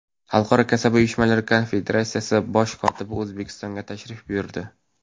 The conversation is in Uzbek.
Xalqaro kasaba uyushmalari konfederatsiyasi bosh kotibi O‘zbekistonga tashrif buyurdi.